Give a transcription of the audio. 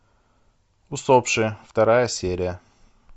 усопшие вторая серия